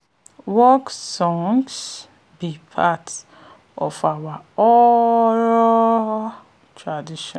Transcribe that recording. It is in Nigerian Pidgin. work songs be part of our oral tradition e dey shape how we dey farm